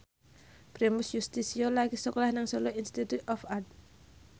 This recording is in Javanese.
Primus Yustisio lagi sekolah nang Solo Institute of Art